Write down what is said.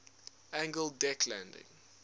angled deck landing